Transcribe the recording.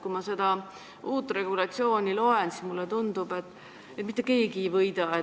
Kui ma seda uut regulatsiooni loen, siis mulle tundub, et mitte keegi ei võida.